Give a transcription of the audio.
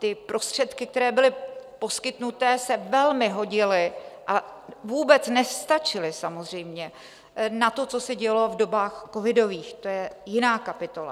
Ty prostředky, které byly poskytnuté, se velmi hodily a vůbec nestačily samozřejmě na to, co se dělo v dobách covidových, to je jiná kapitola.